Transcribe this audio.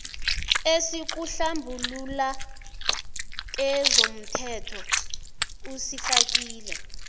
esikuhlambulula kezomthelo usifakile